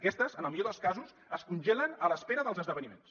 aquestes en el millor dels casos es congelen a l’espera dels esdeveniments